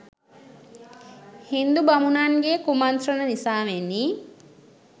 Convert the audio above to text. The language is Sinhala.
හින්දු බමුණන්ගේ කුමන්ත්‍රන නිසාවෙනි.